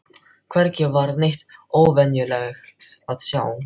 Hvergi var neitt óvenjulegt að sjá.